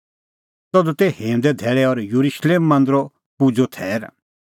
तधू तै हिंऊंदे धैल़ै और येरुशलेम नगरी हुअ येरुशलेम मांदरो पूज़ो थैर